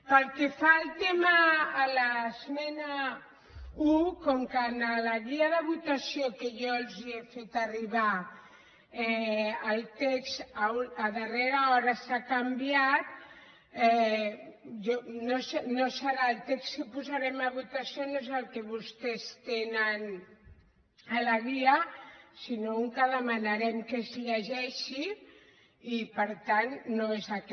pel que fa a l’esmena un com que en la guia de votació que jo els he fet arribar el text a darrera hora s’ha can·viat no serà el text que posarem a votació no és el que vostès tenen a la guia sinó un que demanarem que es llegeixi i per tant no és aquest